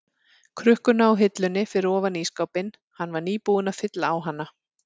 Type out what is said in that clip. krukkuna á hillunni fyrir ofan ísskápinn, hann var nýbúinn að fylla á hana.